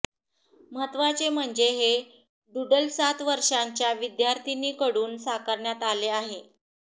महत्त्वाचे म्हणजे हे डुडल सात वर्षांच्या विद्यार्थिनीकडून साकरण्यात आले आहे